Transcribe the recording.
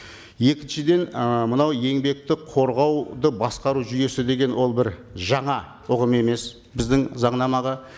екіншіден ы мынау еңбекті қорғауды басқару жүйесі деген ол бір жаңа ұғым емес біздің заңнамаға